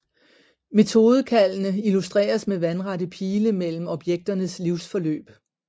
Metodekaldene illustreres med vandrette pile mellem objekternes livsforløb